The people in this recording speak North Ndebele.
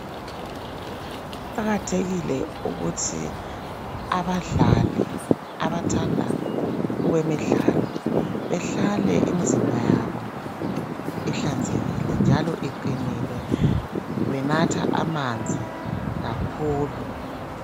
Kuqakathekile ukuthi abadlali abathanda okwemidlalo behlale imizimba yabo ihlanzekile njalo iqinile benatha amanzi kakhulu.